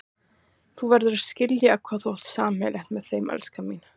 Þú verður að skilja hvað þú átt sameiginlegt með þeim, elskan mín.